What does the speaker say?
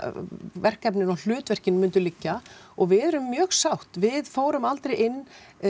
verkefni og hlutverkin myndu liggja og við erum mjög sátt við fórum aldrei inn